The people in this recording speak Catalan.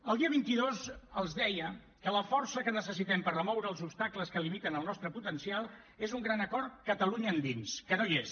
el dia vint dos els deia que la força que necessitem per remoure els obstacles que limiten el nostre potencial és un gran acord catalunya endins que no hi és